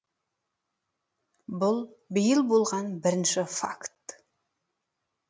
бұл биыл болған бірінші факт